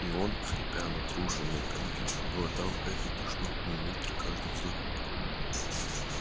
и он хрипя натруженной грудью глотал эту тошнотную вонь при каждом вздохе